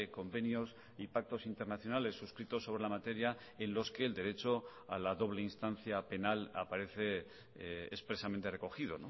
convenios y pactos internacionales suscritos sobre la materia en los que el derecho a la doble instancia penal aparece expresamente recogido